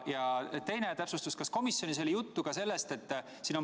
Ja teine täpsustus: kas komisjonis oli juttu ka järgmisest?